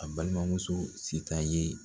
A balimamuso sitan ye